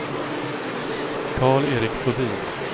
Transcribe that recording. Karl-Erik Flodin